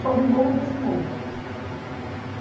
Sobe morro, desce morro.